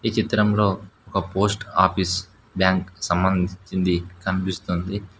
ఈ చిత్రంలో ఒక పోస్ట్ ఆఫీస్ బ్యాంక్ సమందించింది కనిపిస్తుంది.